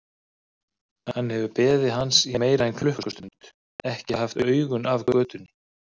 Hann hefur beðið hans í meira en klukkustund, ekki haft augun af götunni.